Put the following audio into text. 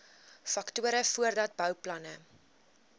faktore voordat bouplanne